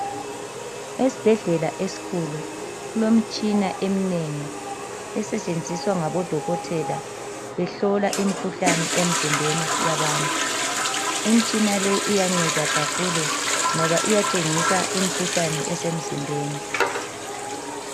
Esibhedlela esikhulu, kulemtshina eminengi, esetshenziswa ngabodokotela behlola imkhuhlane emzimbeni yabantu. Imtshina le iyanceda kakhulu ngoba iyatshengisa imkhuhlane esemzimbeni.